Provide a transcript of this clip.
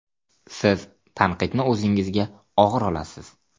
Siz tanqidni o‘zingizga og‘ir olasiz.